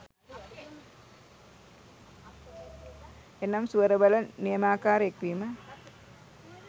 එනම් ස්වර වල නියමාකාර එක්වීම